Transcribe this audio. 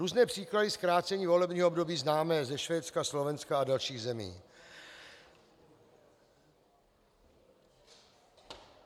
Různé příklady zkrácení volebního období známe ze Švédska, Slovenska a dalších zemí.